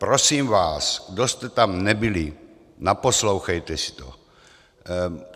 Prosím vás, kdo jste tam nebyli, naposlouchejte si to.